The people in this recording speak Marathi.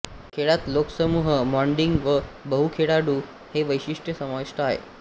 खेळात लोकसमूह मॉडिंग व बहुखेळाडू हे वैशिष्ट्य समाविष्ट आहेत